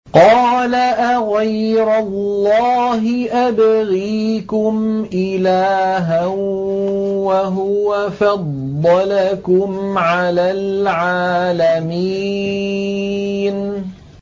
قَالَ أَغَيْرَ اللَّهِ أَبْغِيكُمْ إِلَٰهًا وَهُوَ فَضَّلَكُمْ عَلَى الْعَالَمِينَ